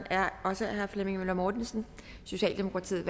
er også af herre flemming møller mortensen socialdemokratiet